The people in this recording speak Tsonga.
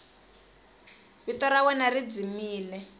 vito ra wena ri dzimile